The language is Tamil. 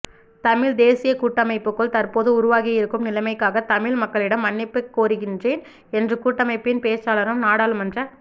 தமிழ் தேசிய கூட்டமைப்புக்குள் தற்போது உருவாகியிருக்கும் நிலைமைக்காக தமிழ் மக்களிடம் மன்னிப்பு கோருகின்றேன் என்று கூட்டமைப்பின் பேச்சாளரும் நாடாளுமன்ற